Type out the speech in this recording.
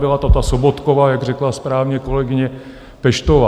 Byla to ta Sobotkova, jak řekla správně kolegyně Peštová.